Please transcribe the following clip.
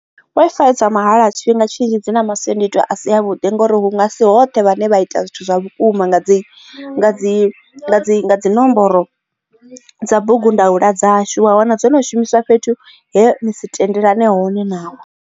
Wi-Fi dza mahala tshifhinga tshinzhi dzi na masiandoitwa a si a vhuḓi ngori hu nga si hoṱhe hune vhane vha ita zwithu zwa vhukuma nga dzi dzi dzi dzi nomboro ya bugu ndaula dzashu wa wana dzo no shumisiwa fhethu he ni si tendelani hone navho.